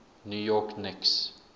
new york knicks